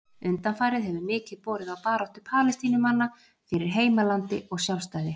Undanfarið hefur mikið borið á baráttu Palestínumanna fyrir heimalandi og sjálfstæði.